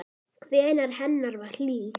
Nærvera hennar var hlý.